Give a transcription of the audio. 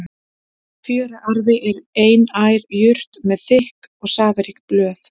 Fjöruarfi er einær jurt með þykk og safarík blöð.